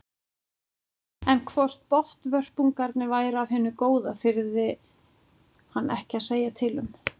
En hvort botnvörpungarnir væru af hinu góða þyrði hann ekki að segja til um.